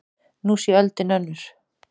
Nú sé öldin önnur.